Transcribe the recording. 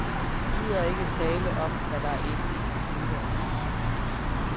De gider ikke tale om, hvad der er inden i computeren.